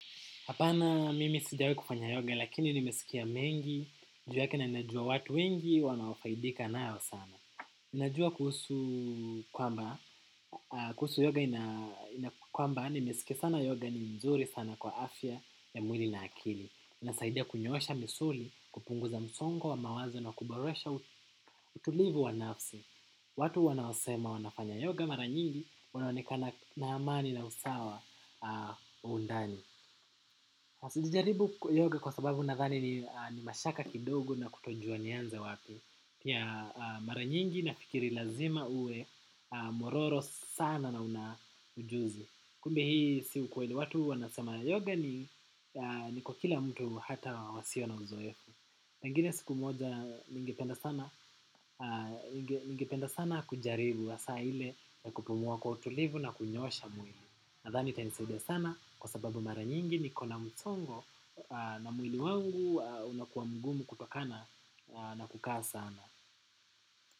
Hapana mimi sijawahi kufanya yoga lakini nimesikia mengi, juu yake na najua watu wengi wanaofaidika nayo sana. Ninajua kuhusu kwamba, kuhusu yoga ina kwamba, nimesikia sana yoga ni nzuri sana kwa afya ya mwili na akili. Inasaidia kunyosha misuli, kupunguza msongo wa mawazo na kuboresha utulivu wa nafsi. Watu wanaosema wanafanya yoga mara nyingi wanaonekana na amani na usawa wa undani. Sijajaribu yoga kwa sababu nadhani ni mashaka kidogo na kutojua nianze wapi. Pia mara nyingi nafikiri lazima uwe mwororo sana na una ujuzi. Kumbe hii si ukweli watu wanasema yoga ni kwa kila mtu hata wasio na uzoefu pengine siku moja ningependa sana kujaribu hasa ile na kupumua kwa utulivu na kunyoosha mwili. Nadhani itanisaidia sana kwa sababu mara nyingi niko na msongo na mwili wangu unakuwa mgumu kutokana na kukaa sana.